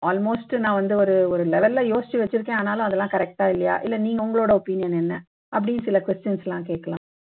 almost நான் வந்து ஒரு ஒரு level ல யோசிச்சு ஆனாலும் அதெல்லாம் correct ஆ இல்லையா இல்லை நீங்க உங்களோட opinion என்ன அப்படின்னு சில questions எல்லாம் கேட்கலாம்